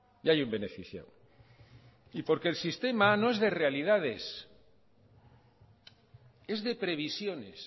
y hay un beneficiado y porque el sistema no es de realidades es de previsiones